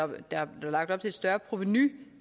med at der blev lagt op til et større provenu